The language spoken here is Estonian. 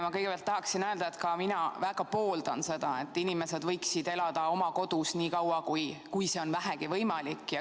Ma kõigepealt tahaksin öelda, et ka mina väga pooldan seda, et inimesed võiksid elada oma kodus niikaua, kui see on vähegi võimalik.